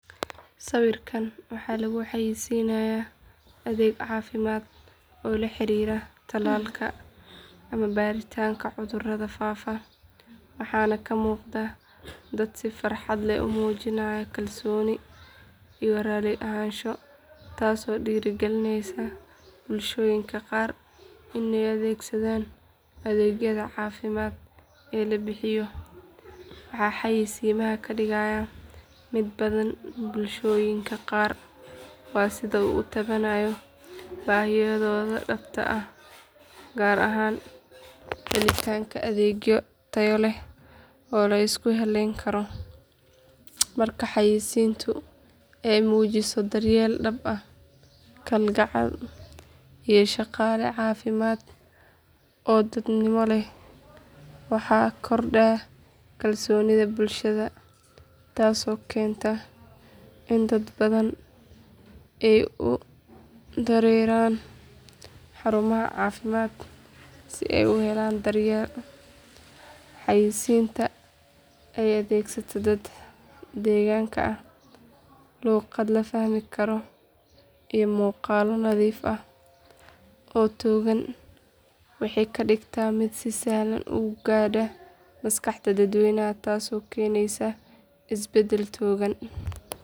Sawirkan waxaa lagu xayeysiinayaa adeeg caafimaad oo la xiriira tallaalka ama baaritaanka cudurrada faafa waxaana ka muuqda dad si farxad leh u muujinaya kalsooni iyo raalli ahaansho taasoo dhiirrigelinaysa bulshooyinka qaar in ay adeegsadaan adeegyada caafimaad ee la bixiyo. Waxa xayeysiimaha ka dhigaya mid badan bulshooyinka qaar waa sida uu u taabanayo baahiyahooda dhabta ah gaar ahaan helitaanka adeegyo tayo leh oo la isku halleyn karo. Marka xayeysiintu ay muujiso daryeel dhab ah, kalgacal, iyo shaqaale caafimaad oo dadnimo leh waxaa kordha kalsoonida bulshada taasoo keenta in dad badan ay u dareeraan xarumaha caafimaadka si ay u helaan daryeel. Xayeysiinta oo adeegsata dad deegaanka ah, luuqad la fahmi karo, iyo muuqaallo nadiif ah oo togan waxay ka dhigtaa mid si sahlan u gaadha maskaxda dadweynaha taasoo keenaysa isbeddel togan.